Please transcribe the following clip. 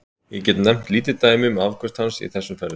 Ég get nefnt lítið dæmi um afköst hans í þessum ferðum.